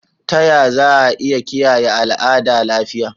Ta Yaya Za'a Iya Kiyaye Al'ada Lafiya?